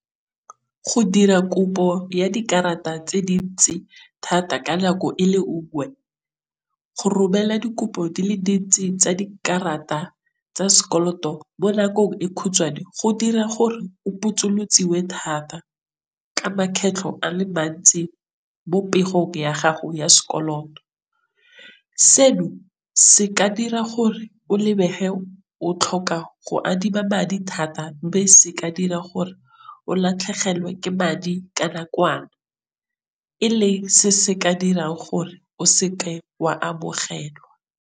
Go dira kopo ya dikarata tse dintse thata ka nako e le nngwe, go romela dikopo di le dintsi tsa dikarata tsa sekoloto mo nakong e kgutshwane go dira gore, o botsolotsiwe thata ka makgetlho a le mantsi mo pegong ya gago ya sekoloto. Seno se ka dira gore o lebege o tlhoka go adima madi thata, mme se ka dira gore o latlhegelwe ke madi ka nakwana, e leng se se ka dirang gore o se ke wa amogelwa.